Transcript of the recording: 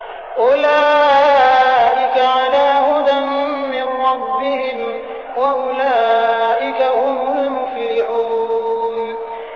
أُولَٰئِكَ عَلَىٰ هُدًى مِّن رَّبِّهِمْ ۖ وَأُولَٰئِكَ هُمُ الْمُفْلِحُونَ